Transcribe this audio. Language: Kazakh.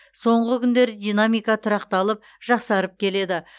соңғы күндері динамика тұрақталып жақсарып келеді